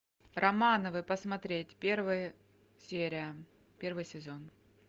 романовы посмотреть первая серия первый сезон